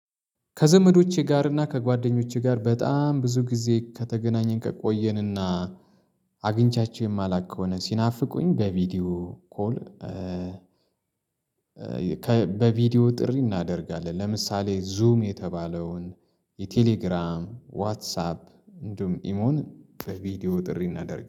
ከዘመዶቼ ጋርና ከጓደኞቼ ጋር በጣም ብዙ ጊዜ ከተገናኘን ከቆየንና አግኝቻቸው የማላክ ከሆነ ሲናፍቁኝ በቪዲዮ ኮል በቪዲዮ ጥሪ እናደርጋለን። ለምሳሌ ዙም የተባለውን የቴሌግራም ዋትሳፕ እንደውም ኢሞን በቪዲዮ ጥሪ እናደርጋለን